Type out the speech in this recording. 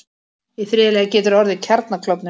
Í þriðja lagi getur orðið kjarnaklofnun.